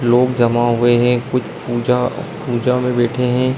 लोग जमा हुए हैं। कुछ पूजा पूजा में बैठे हैं।